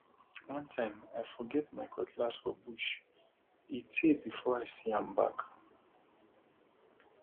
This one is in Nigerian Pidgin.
one time i forget my cutlass for bush e tey before i see am back